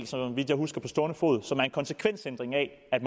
så vidt jeg husker på stående fod er en konsekvensændring af at